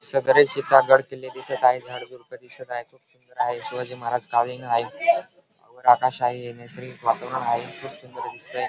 सदरे चित्रा गडकिल्ले दिसत आहे झाडेझुडपे दिसत आहेखूप सुंदर आहे शिवाजी महाराज कालिण आहे वर आकाश आहे नैसर्गिक वातावरण आहे खूप सुंदर दिसतंय.